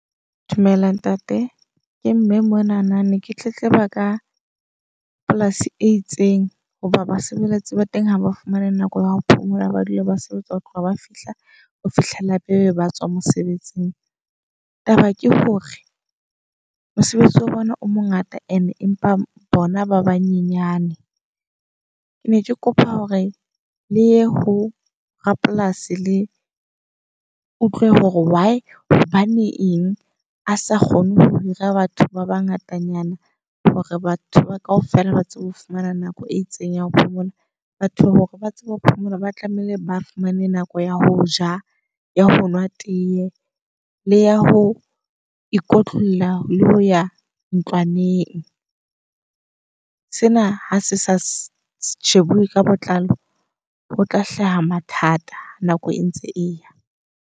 Dumela ntate. Ke mme monana ne ke tletleba ka polasi e itseng. Hoba basebeletsi ba teng ha ba fumane nako ya ho phomola, ba dula ba sebetsa ho tloha ba fihla ho fihlela pele ba tswa mosebetsing. Taba ke hore mosebetsi wa bona o mongata and-e empa bona ba banyenyane. Ke ne ke kopa hore le ye ho rapolasi le utlwe hore why hobane eng a sa kgone ho hira batho ba bangata nyana. Hore batho kaofela ba tsebe ho fumana nako e itseng ya ho phomola. Batho hore ba tsebe ho phomola ba tlameha ba fumane nako ya ho ja, ya honwa tee le ya ho ikotlolla, le ho ya ntlwaneng. Sena ha se sa shebuwe ka botlalo ho tla hlaha mathata nako e ntse eya.